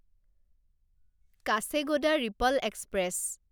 Kacheguda Repalle express